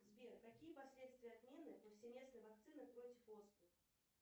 сбер какие последствия отмены повсеместной вакцины против оспы